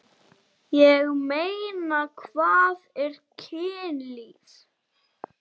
Magnea Hrönn.